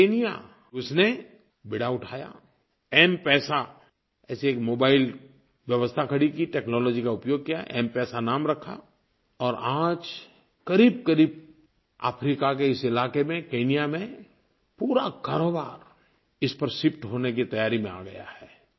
Kenya उसने बीड़ा उठाया एमपीईएसए ऐसी एक मोबाइल व्यवस्था खड़ी की टेक्नोलॉजी का उपयोग किया एमपीईएसए नाम रखा और आज क़रीबक़रीब अफ्रीका के इस इलाक़े में केन्या में पूरा कारोबार इस पर शिफ्ट होने की तैयारी में आ गया है